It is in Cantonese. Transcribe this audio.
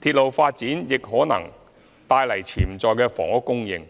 鐵路發展亦可能帶來潛在的房屋供應，